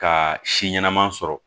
Ka si ɲɛnama sɔrɔ